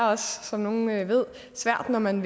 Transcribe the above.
som nogle ved svært når man